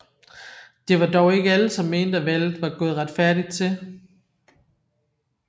Det var dog ikke alle som mente at valget var gået retfærdigt til